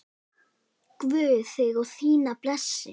Guð þig og þína blessi.